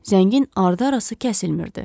Zəngin ardı-arası kəsilmirdi.